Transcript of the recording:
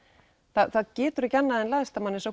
það getur ekki annað en læðst að manni